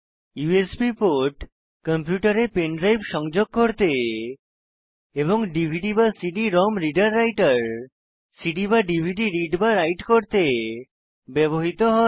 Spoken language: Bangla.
ইউএসবি পোর্ট কম্পিউটারে পেন ড্রাইভ সংযোগ করতে এবং dvdcd ROM reader writer CD বা ডিভিডি রিড বা রাইট করতে ব্যবহৃত হয়